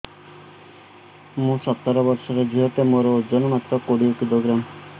ମୁଁ ସତର ବର୍ଷ ଝିଅ ଟେ ମୋର ଓଜନ ମାତ୍ର କୋଡ଼ିଏ କିଲୋଗ୍ରାମ